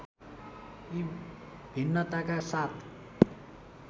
यी भिन्नताका साथ